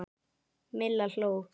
Milla hló.